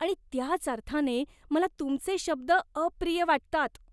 आणि त्याच अर्थाने मला तुमचे शब्द अप्रिय वाटतात.